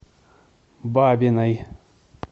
бабиной